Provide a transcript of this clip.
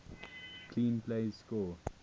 clean plays score